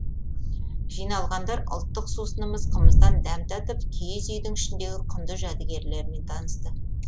жиналғандар ұлттық сусынымыз қымыздан дәм татып киіз үйдің ішіндегі құнды жәдігерлермен танысты